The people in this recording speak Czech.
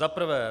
Za prvé.